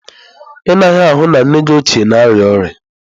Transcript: Ị naghị ahụ na nne gị ochie na-arịa ọrịa?